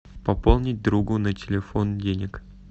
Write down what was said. пополнить другу на телефон денег